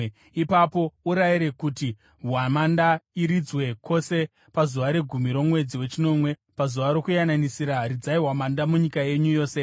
Ipapo urayire kuti hwamanda iridzwe kwose pazuva regumi romwedzi wechinomwe; paZuva Rokuyananisira ridzai hwamanda munyika yenyu yose.